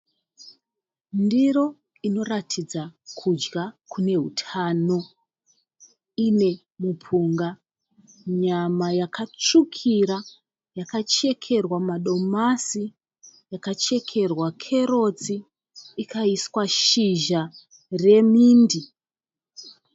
Ndiro inoratidza kudya kune hutano. Ine mupunga, nyama yakatsvukira yakachekerwa madomasi, yakachekerwa kerotsi ikaiswa shizha remindi.